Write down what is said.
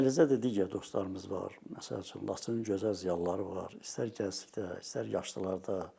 Və eləcə də digər dostlarımız var, məsəl üçün Laçının gözəl ziyalıları var, istər gənclərdə, istər yaşlılarda.